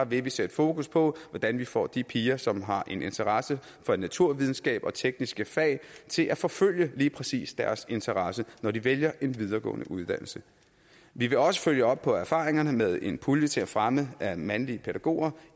vil vi sætte fokus på hvordan vi får de piger som har en interesse for naturvidenskab og tekniske fag til at forfølge lige præcis deres interesse når de vælger en videregående uddannelse vi vil også følge op på erfaringerne med en pulje til at fremme mandlige pædagoger